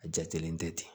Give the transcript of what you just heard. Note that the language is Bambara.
A jatelen tɛ ten